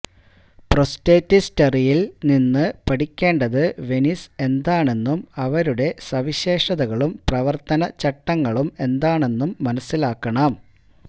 പ്രോസ്റ്റെറ്റിസ്റ്ററിയിൽ നിന്ന് പഠിക്കേണ്ടത് വെനീസ് എന്താണെന്നും അവരുടെ സവിശേഷതകളും പ്രവർത്തന ചട്ടങ്ങളും എന്താണെന്നും മനസ്സിലാക്കണം